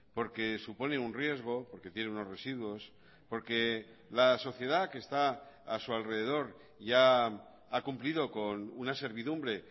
porque supone un riesgo porque tiene unos residuos porque la sociedad que está a su alrededor ya ha cumplido con una servidumbre